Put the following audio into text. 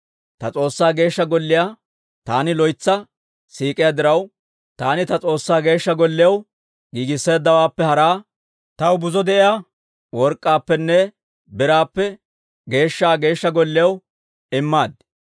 Ta S'oossaa Geeshsha Golliyaa taani loytsa siik'iyaa diraw, taani ta S'oossaa Geeshsha Golliyaw giigisseeddawaappe haraa taw buzo de'iyaa work'k'aappenne biraappe geeshsha Geeshsha Golliyaw immaad.